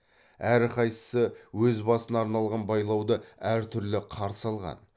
әрқайсысы өз басына арналған байлауды әртүрлі қарсы алған